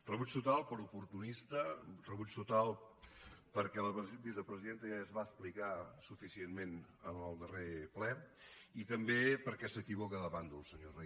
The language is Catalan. rebuig total per oportunista rebuig total perquè la vicepresidenta ja es va explicar suficientment en el darrer ple i també perquè s’equivoca de bàndol senyor reyes